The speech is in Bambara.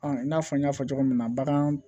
i n'a fɔ n y'a fɔ cogo min na bagan